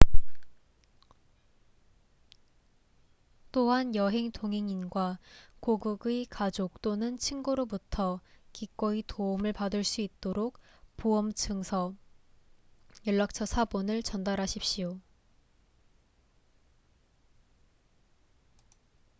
또한 여행 동행인과 고국의 가족 또는 친구로부터 기꺼이 도움을 받을 수 있도록 보험 증서/연락처 사본을 전달하십시오